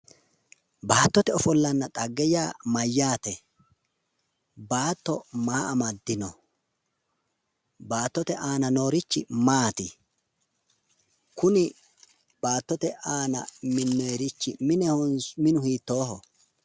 Baattote ofollanna xagge yaa mayyaate? Baatto maa amaddino? Baattote aana noorichi maati? Kuni baattote aana minnoyerichi minehonso minu hiittooho?